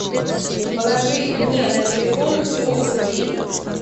положи мне на телефон сто рублей